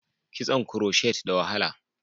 Kitson kuroshet da wahala